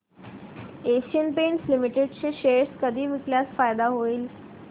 Asian Paints Limited चे share कधी विकल्यास फायदा होईल